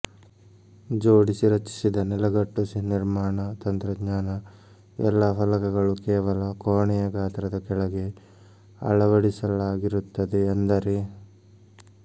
ಜೋಡಿಸಿ ರಚಿಸಿದ ನೆಲಗಟ್ಟು ನಿರ್ಮಾಣ ತಂತ್ರಜ್ಞಾನ ಎಲ್ಲಾ ಫಲಕಗಳು ಕೇವಲ ಕೋಣೆಯ ಗಾತ್ರದ ಕೆಳಗೆ ಅಳವಡಿಸಲಾಗಿರುತ್ತದೆ ಅಂದರೆ